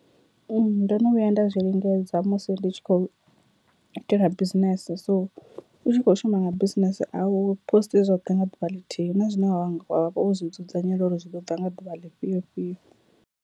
Ndo no vhuya nda zwi lingedza musi ndi tshi khou itela business so u tshi kho shuma nga business aw posti zwoṱhe nga ḓuvha ḽithihi hu na zwine wa vha wo zwi dzudzanyela uri zwi ḓo ḓa nga ḓuvha ḽifhio fhio.